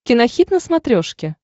кинохит на смотрешке